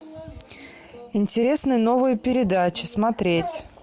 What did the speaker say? интересные новые передачи смотреть